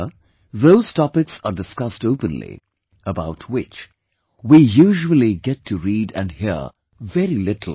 Here those topics are discussed openly, about which we usually get to read and hear very little